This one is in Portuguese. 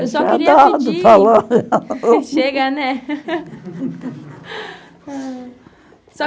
Eu só queria pedir... Chega, né?